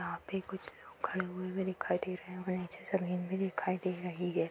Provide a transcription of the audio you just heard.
यहाॅं पे कुछ लोग खड़े हुए भी दिखाई दे रहे हैं और नीचे जमीन भी दिखाई दे रही है।